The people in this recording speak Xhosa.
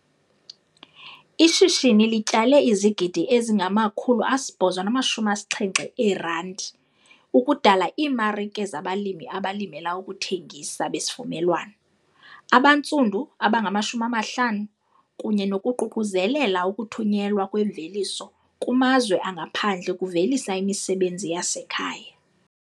"Ishishini lityale [ ]izigidi ezingama-R870 ukudala iimarike zabalimi abalimela ukuthengisa besivumelwano abantsundu abangama-50 kunye nokuququzelela ukuthunyelwa kwemveliso kumazwe angaphandle ukuvelisa imisebenzi yasekhaya."